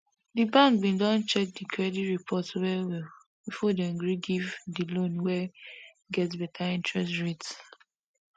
di bank bin check di credit report well well before dem gree give di loan wey get better interest rates